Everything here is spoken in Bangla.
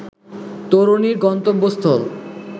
তরুণীর গন্তব্যস্থল